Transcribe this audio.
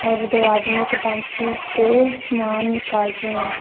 और दो आदमी एक टेंपो से सामान निकाल रहे हैं।